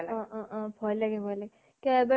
অ অ অ । ভয় লাগে ভয় লাগে । কিয় এবাৰ